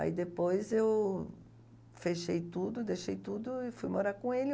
Aí depois eu fechei tudo, deixei tudo e fui morar com ele.